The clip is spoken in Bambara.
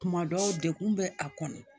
Kuma dɔw degun bɛ a kɔnɔ